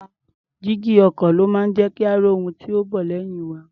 Jígí ọkọ̀ ló máa ń jẹ́ kí a rí ohun tí ó ń bọ̀ lẹ́yìn wa.